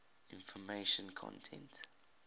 information content